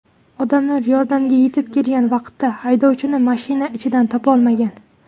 Odamlar yordamga yetib kelgan vaqtida haydovchini mashina ichidan topolmagan.